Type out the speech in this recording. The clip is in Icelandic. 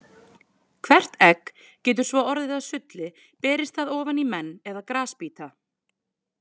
Hvert egg getur svo orðið að sulli berist það ofan í menn eða grasbíta.